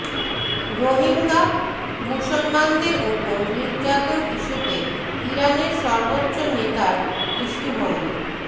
রোহিঙ্গা মুসলমানদের ওপর নির্যাতন ইস্যুতে ইরানের সর্বোচ্চ নেতার দৃষ্টিভঙ্গি